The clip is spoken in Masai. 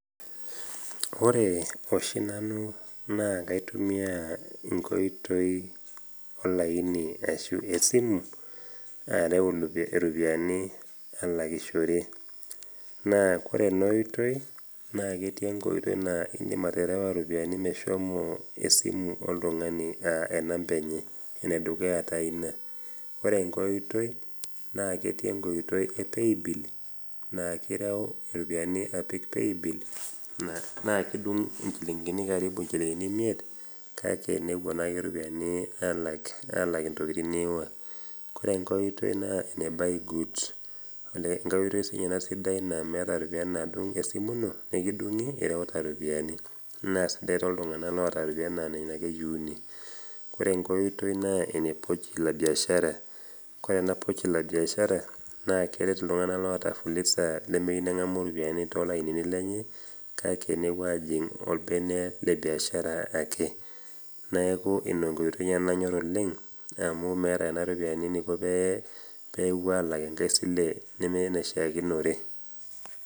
Ore oshi nanu naake aitumia olaini ashu esimu, areu iropiani alakishore, naa kore ena oitoi naake etii enkoitoi naa indim aterewa iropiani meshomo esimu oltung'ani anaa enamba enye, ene dukuya taa ina. Ore enkai oitoi naa ketii enkoitoi e Paybill naa ireu iropiani apik Paybil naa kidung' inchilingini kariibu imiet, kake nepuo naa iropiani alak intokitin niiwa. Ore enkai oitoi naa ene buy goods enkai oitoi naa siininye ena naa meata iropiani naadung' esimu ino nekidung'i ireuta iropiani naa sidai tooltung'ana oata iropiani naa nena ake eyiuni. Kore enkai oitoi naa ene Pochi la biashara, Kore ena Pochi la biashara naa keret iltungana oata impisai nemeyou neng'amu iropiani too ilainini lenye, kake nepuo ajing' olbenen le biashara ake. Neaku ina enkoitoi najor nanu oleng', amu meata nena ropiani eneiko pee ewuo alak enkai sile nemee enaishaakinore.